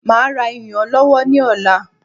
Máa ra iyùn ọlọ́wọ́ ní ọ̀la